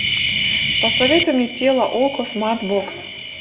посоветуй мне тело окко смарт бокс